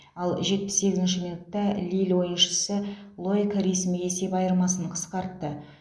ал жетпіс сегізінші минутта лилль ойыншысы лоик ресми есеп айырмасын қысқартты